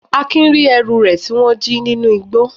Akin ri ẹrú re ti wón ji ninu ìgbó.